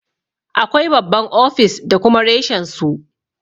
Akwai babban ofis da kuma reshen su.